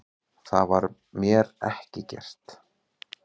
Það var mér ekki gert